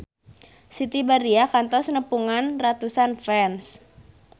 Siti Badriah kantos nepungan ratusan fans